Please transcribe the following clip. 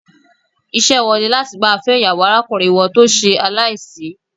Ìṣe wọn ní láti máa fẹ́ ìyàwó arákùnrin wọn tó ṣe aláìsí.